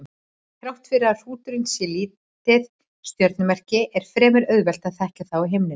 Þrátt fyrir að hrúturinn sé lítið stjörnumerki er fremur auðvelt að þekkja það á himninum.